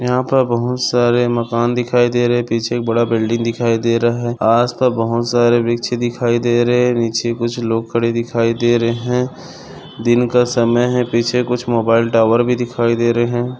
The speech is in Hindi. यहाँ पर बहुत सारे मकान दिखाई दे रहे है पीछे एक बड़ा बिल्डिंग दिखाई दे रहा है आज तो बहुत सारे वृक्ष दिखाई दे रहे नीचे कुछ लोग खड़े दिखाई दे रहे है दिन का समय है पीछे कुछ मोबाइल टावर भी दिखाई दे रहा है।